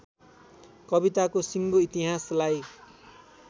कविताको सिङ्गो इतिहासलाई